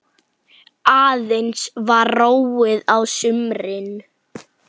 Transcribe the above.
Aðeins var róið á sumrin.